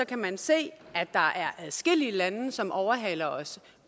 kan man se at der er adskillige lande som overhaler os